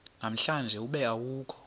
namhlanje ube awukho